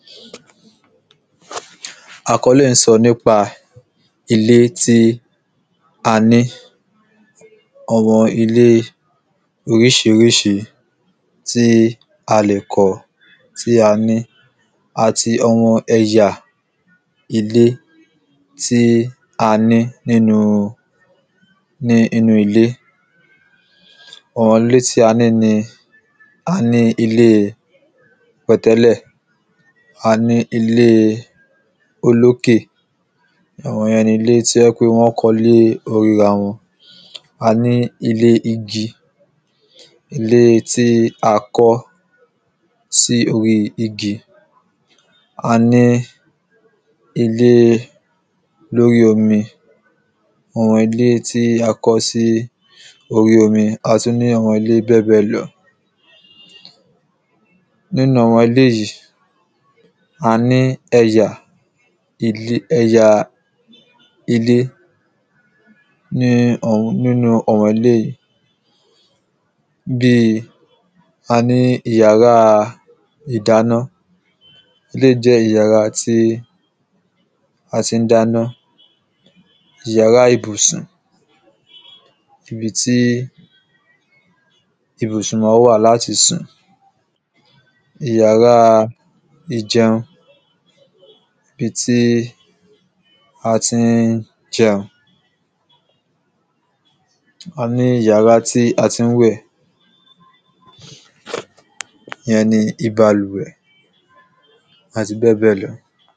Àkọ́lé yìí ń sọ nípa ilé tí a ní Àwọn ilé oríṣiríṣi tí a lè kọ́ tí a ní àti àwọn ẹ̀yà ilé tí a ní nínú ilé Àwọn ilé tí a ní ni A ní ilé pẹ̀tẹ́lẹ̀ A ní ilé olọ́kè Àwọn yẹn ni ilé tí ó jẹ́ ń pé wọ́n kọ́ lé orí ara wọn A ní ilé igi Ilé tí a kọ́ sí orí igi A ní ilé lóri omi Àwọn ilé tí a kọ́ sí orí omi A tún ní àwọn ilé bẹ́ẹ̀bẹ́ẹ̀ lọ Nínú àwọn ilé yìí a ní ẹ̀yà ẹ̀yà ilé ní nínú àwọn ilé yìí Bíi a ní ìyàrá ìdáná Eléyì jẹ́ ìyàrá tí a ti ń dáná Ìyàrá ibùsùn ibi tí ibùsùn máa ń wà láti sùn Ìyàrá ìjẹun ibi tí a ti ń jẹun A ní ìyàrá tí a tí ń wẹ̀ ìyẹn ní ibalùwẹ̀ Àti bẹ́ẹ̀bẹ́ẹ̀ lọ